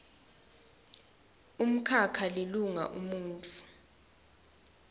umkhakha lilunga umuntfu